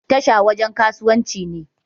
Tasha wajan kasuwanci ne